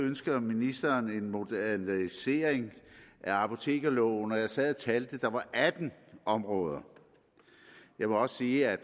ønsker ministeren en modernisering af apotekerloven og jeg sad og talte og der var atten områder jeg må også sige at